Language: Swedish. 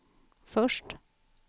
först